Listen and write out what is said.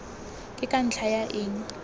ke ka ntlha ya eng